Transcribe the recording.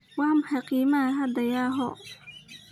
Waa maxay qiimaha hadda yahoo?